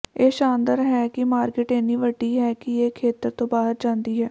ਇਹ ਸ਼ਾਨਦਾਰ ਹੈ ਕਿ ਮਾਰਕੀਟ ਇੰਨੀ ਵੱਡੀ ਹੈ ਕਿ ਇਹ ਖੇਤਰ ਤੋਂ ਬਾਹਰ ਜਾਂਦੀ ਹੈ